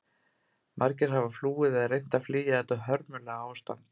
Margir hafa flúið eða reynt að flýja þetta hörmulega ástand.